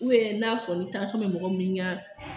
n'a sɔrɔ ni tansyɔn bɛ mɔgɔ min ɲan